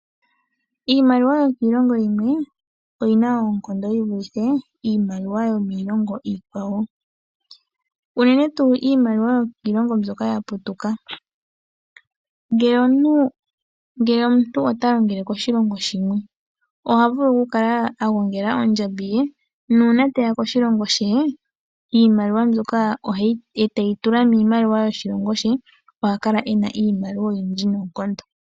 Iimaliwa yokiilongo yimwe oyina oonkondo yivulithe iimaliwa yomiilongo iikwawo ,unene tuu iimaliwa yokiilongo mbyoka yaputuka. Ngele omuntu ota longele koshilongo shimwe , ohavulu okukala agongela oondjambi ye, nuuna teya koshilongo she ,iimaliwa mbyoka eteyo tula miimaliwa yoshilongo she , ohakala ena iimaliwa oyindji noonkondo.